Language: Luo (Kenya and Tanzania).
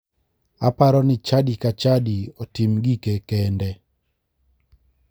Aparo ni chadi ka chadi otim gike kende.